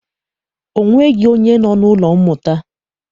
Ọ nweghị onye nọ n'ụlọ mmụta.